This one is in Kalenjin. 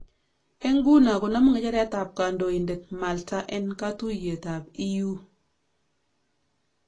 En nguno konamu ng'echeret ab kandoindet Malta en katuyet ab EU